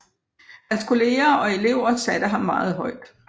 Hans kolleger og elever satte ham meget højt